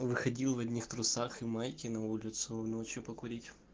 выходил в одних трусах и майке на улицу ночью покурить